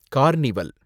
carnival